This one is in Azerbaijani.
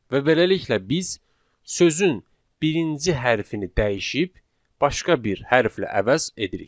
Və beləliklə biz sözün birinci hərfini dəyişib başqa bir hərflə əvəz edirik.